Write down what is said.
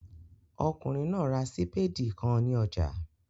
Ọkùnrin náà ra sípèdì kan ní ọjà